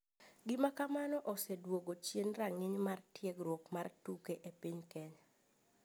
Gima kamano oseduogo chien ranginy mar tiegruok mar tuke e piny kenya.